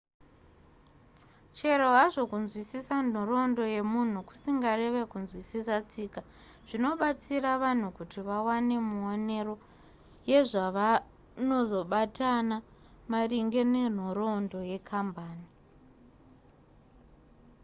chero hazvo kunzwisisa nhoroondo yemunhu kusingareve kunzwisiswa tsika zvinobatsira vanhu kuti vawane muonero yezvavanozobatana maringe nenhoroondo yekambani